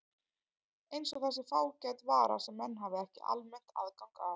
Eins og það sé fágæt vara sem menn hafi ekki almennt aðgang að.